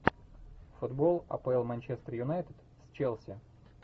футбол апл манчестер юнайтед с челси